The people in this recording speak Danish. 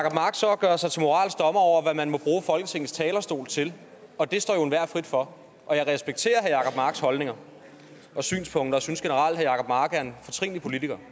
og gør sig til moralsk dommer over hvad man må bruge folketingets talerstol til og det står jo enhver frit for jeg respekterer herre jacob marks holdninger og synspunkter og synes generelt at herre jacob mark er en fortrinlig politiker